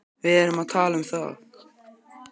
Við erum að tala um það!